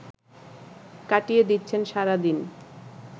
কাটিয়ে দিচ্ছেন সারাদিন